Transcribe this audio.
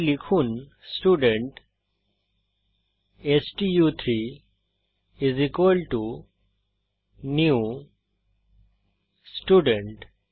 তাই লিখুন স্টুডেন্ট স্টু3 নিউ স্টুডেন্ট